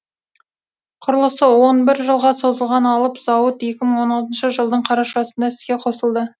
құрылысы он бір жылға созылған алып зауыт екі мың он алтыншы жылдың қарашасында іске қосылды